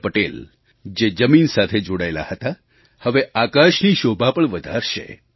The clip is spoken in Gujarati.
તે સરદાર પટેલ જે જમીન સાથે જોડાયેલા હતા હવે આકાશની શોભા પણ વધારશે